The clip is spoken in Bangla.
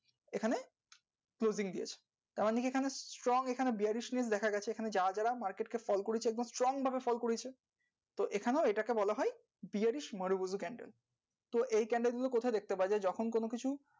তার মধ্যে দিয়ে strong ভাবে fall করেছে এটাকে বলা হয়